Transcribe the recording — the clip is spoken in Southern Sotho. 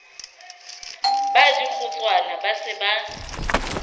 ba dikgotswana ba se ba